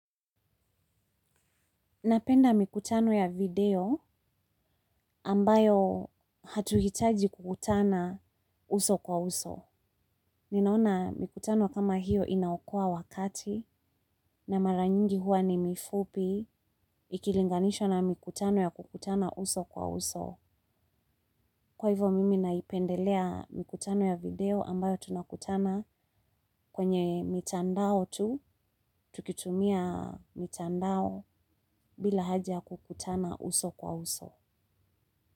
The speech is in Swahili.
Napenda mikutano ya video ambayo hatuhitaji kukutana uso kwa uso. Ninaona mikutano kama hiyo inaokoa wakati, na mara nyingi huwa ni mifupi, ikilinganishwa na mikutano ya kukutana uso kwa uso. Kwa hivyo mimi naipendelea mikutano ya video ambayo tunakutana kwenye mitandao tu, tukitumia mitandao, bila haja kukutana uso kwa uso.